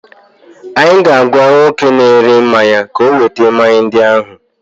Anyị ga-agwa nwoke na-ere mmanya ka oweta mmanya ndị ahụ.